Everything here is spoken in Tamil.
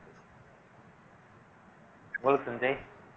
சஞ்சய்